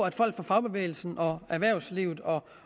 at folk fra fagbevægelsen og erhvervslivet og